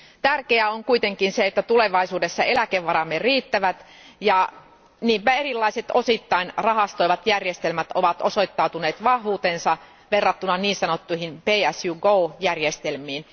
Tärkeää on kuitenkin se, että tulevaisuudessa eläkevaramme riittävät, ja niinpä erilaiset osittain rahastoivat järjestelmät ovat osoittaneet vahvuutensa verrattuna niin sanottuihin Pay As You Go järjestelmiin.